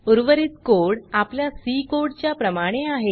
उर्वरित कोड आपल्या C code च्या प्रमाणे आहे